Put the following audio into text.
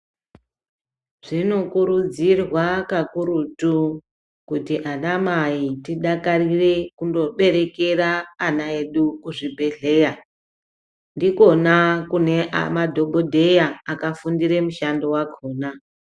Zvinokurudzirwa kakurutu kuti anamai tidakarire kundoberekera ana edu kuzvibhehleya. Ndikona kune madhokodheya akafundire mushando wakona.